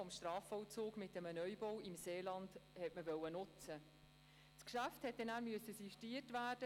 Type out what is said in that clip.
(Wie es aussieht, haben wir keine Fraktionssprechenden.